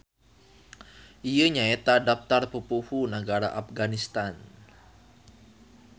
Ieu nyaeta daptar pupuhu nagara Apganistan.